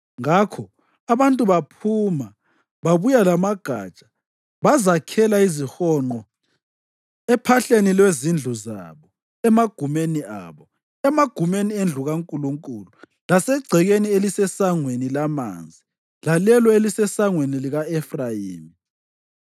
Ngakho abantu baphuma babuya lamagatsha bazakhela izihonqo ephahleni lwezindlu zabo, emagumeni abo, emagumeni endlu kaNkulunkulu lasegcekeni eliseSangweni laManzi lalelo elaliseSangweni lika-Efrayimi.